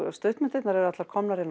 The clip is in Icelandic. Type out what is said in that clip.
stuttmyndirnar eru allar komnar inn á